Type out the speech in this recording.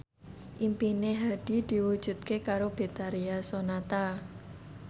impine Hadi diwujudke karo Betharia Sonata